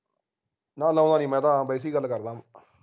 ਨਾ ਲਾਉਂਦਾ ਨਹੀਂ ਮੈਂ ਤਾ ਆਪ ਵੈਸੇ ਹੀ ਗੱਲ ਕਰਦਾ